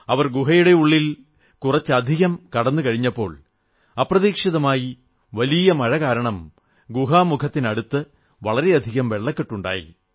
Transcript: അവർ ഗുഹയുടെ ഉള്ളിൽ കുറച്ചധികം കടന്നു കഴിഞ്ഞപ്പോൾ അപ്രതീക്ഷിതമായി വലിയ മഴ കാരണം ഗുഹാമുഖത്തിനടുത്ത് വളരെയധികം വെള്ളക്കെട്ടുണ്ടായി